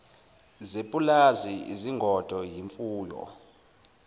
zepulazi izingodo imfuyo